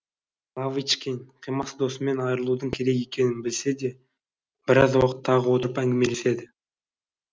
лавочкин қимас досымен айырылудың керек екенін білсе де біраз уақыт тағы отырып әңгімелеседі